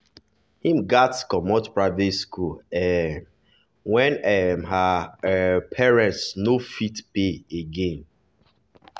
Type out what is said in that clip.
he gats comot private school um when um her um parents no fit pay again.